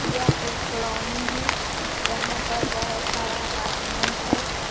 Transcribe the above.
यह एक कॉलोनी है जहां पर बहोत सारा अपार्टमेंट है।